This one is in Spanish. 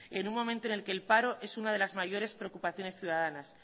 en un momento en el que el paro es una de las mayores preocupaciones ciudadanas